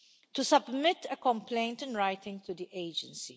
to submit a complaint in writing to the Agency.